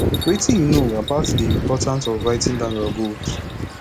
wetin you know about di importance of writing down your goals